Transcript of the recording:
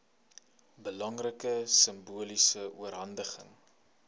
belangrike simboliese oorhandiging